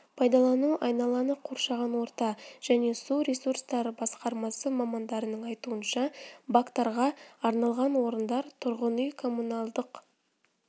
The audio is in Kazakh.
пайдалану айналаны қоршаған орта және су ресурстары басқармасы мамандарының айтуынша бактарға арналған орындар тұрғын үй-коммуналдық